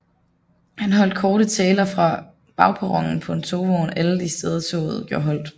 Han holdt korte taler fra bagperronen på en togvogn alle de steder toget gjorde holdt